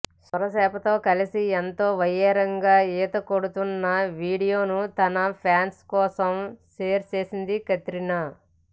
సొరచేపతో కలిసి ఎంతో వయ్యారంగా ఈత కొడుతున్న వీడియోను తన ఫ్యాన్స్ కోసం షేర్ చేసింది కత్రినా